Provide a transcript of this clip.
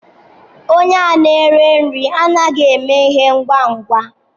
Onye a nere nri anaghị eme ihe ngwa ngwa.